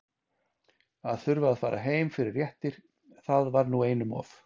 Að þurfa að fara heim fyrir réttir- það var nú einum of.